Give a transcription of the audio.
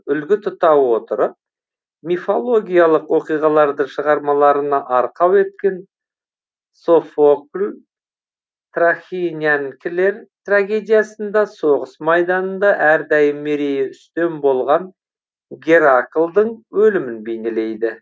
үлгі тұта отырып мифологиялық оқиғаларды шығармаларына арқау еткен софокл трахинянкілер трагедиясында соғыс майданында әрдайым мерейі үстем болған гераклдың өлімін бейнелейді